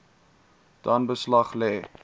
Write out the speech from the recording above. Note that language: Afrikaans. dan beslag lê